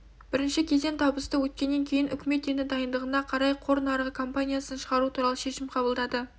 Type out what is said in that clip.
бірінші кезең табысты өткеннен кейін үкімет енді дайындығына қарай қор нарығына компаниясын шығару туралы шешім қабылдады